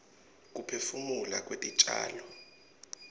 kuphefumula kwetitjalo